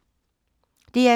DR2